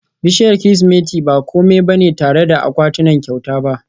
bishiyar Kirsimeti ba kome ba ne ba tare da akwatunan kyauta ba